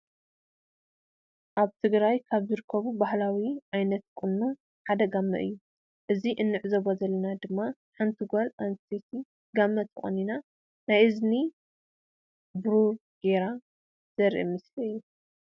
አብ ትግራይ ካብ ዝርከቡ ባህላዊ ዓይነታት ቁኖ ሓደ ጋመ እዩ። አንዚ እንዕዞቦ ዘለና ድማ ሓንቲ ጋል አንስተይቲ ጋመ ተቆኒና ናይ እዝኒ ብሩሩ ገይራ ዘሪኢ ምስሊ እዩ።